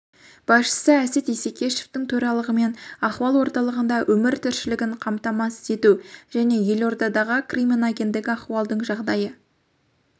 басшысы әсет исекешевтің төрағалығымен ахуал орталығында өмір тіршілігін қамтамасыз ету және елордадағы криминогендік ахуалдың жағдайы